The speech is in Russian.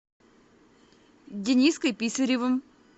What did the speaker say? дениской писаревым